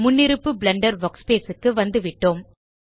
முன்னிருப்பு blender workspace க்கு வந்துவிட்டோம்